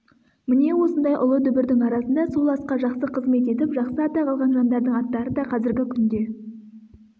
міне осындай ұлы дүбірдің арасында сол асқа жақсы қызмет етіп жақсы атақ алған жандардың аттары да қазіргі күнде